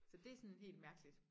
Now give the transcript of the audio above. Så det sådan helt mærkeligt